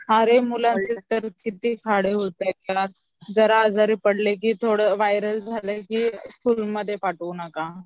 अरे मुलांचे तर किती खाडे होताहेत यार जरा आजारी पडले की जरा वायरल झालं की स्कूलमध्ये पाठवू नका